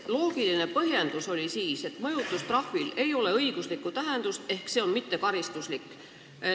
Loogiline põhjendus oli, et mõjutustrahvil ei ole õiguslikku tähendust ehk see on mittekaristuslik.